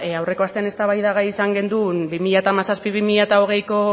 aurreko astean eztabaidagai izan genuen bi mila hamazazpi bi mila hogeiko